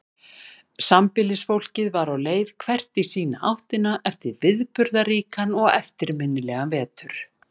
Sambýlisfólkið var á leið hvert í sína áttina eftir viðburðaríkan og eftirminnilegan vetur.